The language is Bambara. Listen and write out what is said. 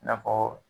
I n'a fɔ